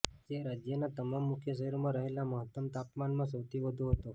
જે રાજ્યના તમામ મુખ્ય શહેરોમાં રહેલા મહત્તમ તાપમાનમાં સૌથી વધુ હતો